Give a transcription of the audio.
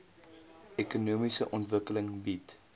ekonomiese ontwikkeling bied